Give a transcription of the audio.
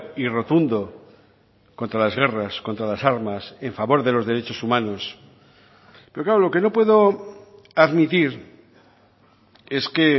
y rotundo contra las guerras contra las armas en favor de los derechos humanos pero claro lo que no puedo admitir es que